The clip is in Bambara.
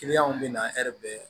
Kiliyanw bɛ na bɛ